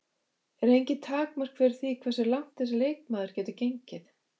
Eru engin takmörk fyrir því hversu langt þessi leikmaður getur gengið?